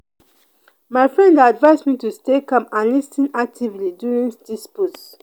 my friend dey advise me to stay calm and lis ten actively during disputes.